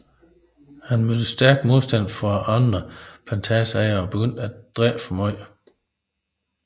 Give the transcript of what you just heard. Han mødte stærk modstand fra andre plantageejere og begyndte at drikke for meget